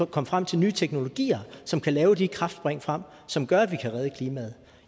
komme frem til nye teknologier som kan lave de kraftspring frem som gør at vi kan redde klimaet